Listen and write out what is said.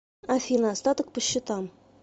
афина остаток по счетам